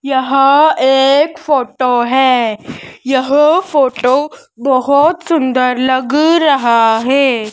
यहां एक फोटो है यह फोटो बहुत सुंदर लग रहा है।